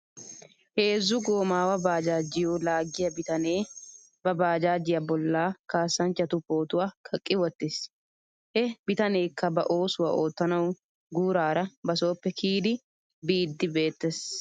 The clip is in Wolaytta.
Heezzu goomaawa baajaajjiyoo laaggiyaa bitanee ba baajaajjiyaa bolla kaassanchchatu pootuwaa kaqqi wottis. He bitaneekka ba oosuwaa oottanaw guuraara ba sooppe kiyidi biiddi beettes.